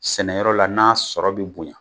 Sɛnɛyɔrɔ la n'a sɔrɔ bi bonya.